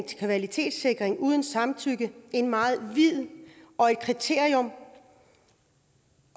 til kvalitetssikring uden samtykke et meget vidt kriterium